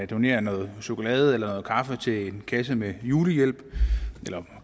donerer noget chokolade eller noget kaffe til en kasse med julehjælp eller